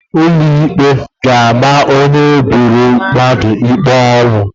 Ụlọ ikpe ga-ama onye gburu mmadụ ikpe ọnwụ.